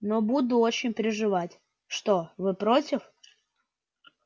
но буду очень переживать что вы против